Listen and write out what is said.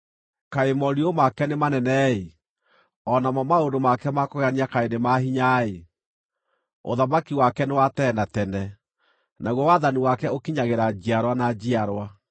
Kaĩ morirũ make nĩ manene-ĩ! O namo maũndũ make ma kũgegania kaĩ nĩ ma hinya-ĩ! Ũthamaki wake nĩ wa tene na tene, naguo wathani wake ũkinyagĩra njiarwa na njiarwa.